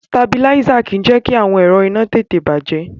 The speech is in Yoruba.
Sitabiláísà kì í jẹ́ kí àwọn ẹ̀rọ iná tètè bàjẹ́.